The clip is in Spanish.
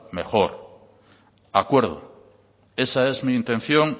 mejor acuerdo esa es mi intención